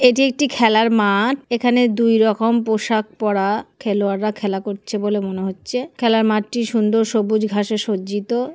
এটি একটি খেলার মাঠ এখানে দুই রকম পোশাক পরা খেলোয়াররা খেলা করছে বলে মনে হচ্ছে খেলার মাঠটি সুন্দর সবুজ ঘাসে সজ্জিত।